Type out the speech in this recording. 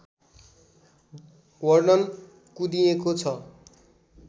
वर्णन कुँदिएको छ